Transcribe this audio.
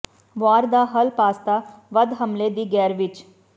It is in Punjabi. ਵਾਰ ਦਾ ਹੱਲ ਪਾਸਤਾ ਵੱਧ ਹਮਲੇ ਦੀ ਗੈਰ ਵਿਚ